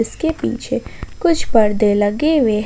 इसके पीछे कुछ परदे लगे हुए--